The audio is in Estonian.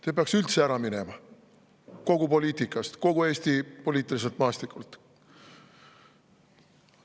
Te peaks üldse ära minema poliitikast, kogu Eesti poliitiliselt maastikult.